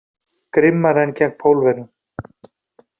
Grimmari en gegn Pólverjum.